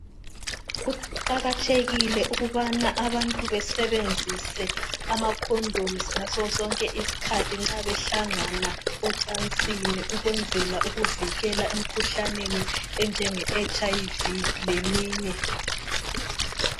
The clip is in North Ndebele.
Kuqakathekile ukubana abantu basebenzisa amakhondomu ngaso sonke isikhathi nxa behlangana ocansini ukwenzela ukuvikela emkhuhlaneni enjenge HIV leminye.